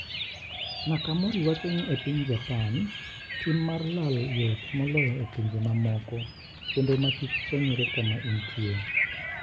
Nakamori wacho ni e piny Japan tim mar lal yot moloyo e pinje mamoko kendo ma kik fwenyre kama intie.